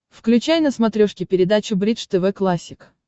включай на смотрешке передачу бридж тв классик